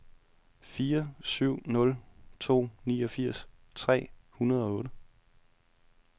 fire syv nul to niogfirs tre hundrede og otte